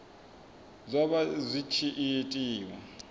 zwa vha zwi tshi itiwa